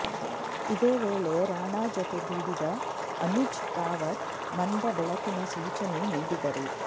ಇದೇ ವೇಳೆ ರಾಣಾ ಜೊತೆಗೂಡಿದ ಅನುಜ್ ರಾವತ್ ಮಂದ ಬೆಳಕಿನ ಸೂಚನೆ ನೀಡಿದರು